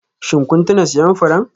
Shin kun tuna siyan furen?